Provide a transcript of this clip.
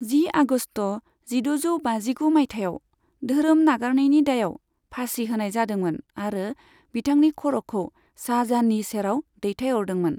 जि आगस्त जिद'जौ बाजिगु मायथाइयाव धोरोम नागारनायनि दायाव फासि होनाय जादोंमोन आरो बिथांनि खर'खौ शाहजाहाननि सेराव दैथायहरदोंमोन।